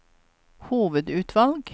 hovedutvalg